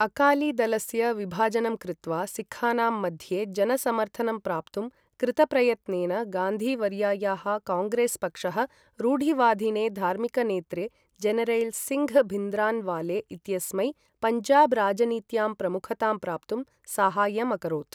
अकालीदलस्य विभाजनं कृत्वा सिक्खानां मध्ये जनसमर्थनं प्राप्तुं कृतप्रयत्नेन गान्धी वर्यायाः काङ्ग्रेस् पक्षः, रूढिवादिने धार्मिकनेत्रे जनरैल् सिङ्घ् भिन्द्रन्वाले इत्यस्मै पञ्जाब् राजनीत्यां प्रमुखतां प्राप्तुं साहाय्यम् अकरोत्।